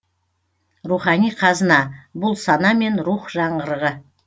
рухани қазына бұл сана мен рух жаңғырығы